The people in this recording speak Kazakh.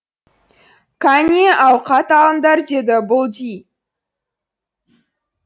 қане ауқат алыңдар деді бұлди